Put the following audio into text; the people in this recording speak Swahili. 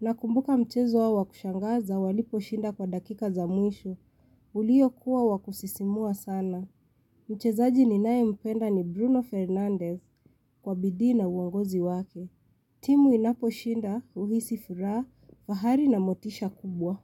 Nakumbuka mchezo wao wa kushangaza waliposhinda kwa dakika za mwisho. Uliyokuwa wa kusisimua sana. Mchezaji ninayempenda ni Bruno Fernandez kwa bidii na uongozi wake. Timu inaposhinda huhisi furaha, fahari na motisha kubwa.